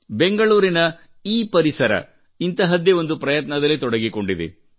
ಬೆಂಗಳೂರಿನ ಎಪರಿಸರಾ ಇಂತಹದ್ದೇ ಒಂದು ಪ್ರಯತ್ನದಲ್ಲಿ ತೊಡಗಿಕೊಂಡಿದೆ